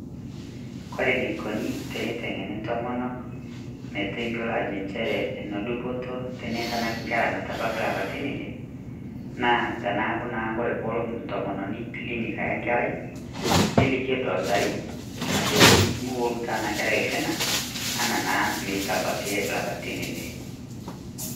Kore neikoni teneteng'eni ntomonok meteiyelo ajo ncherre ene dupoto teneitanak nkerra metabaiki lapaitin ile, naa tanaaku naa kore poloo ntomononi kilinik ayaa nkerrai neliiki edoktari ajoki meuoru taa ena nkerrai lkinaa ena naa meitabaki llapatin ile.